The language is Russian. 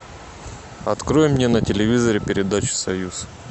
открой мне на телевизоре передачу союз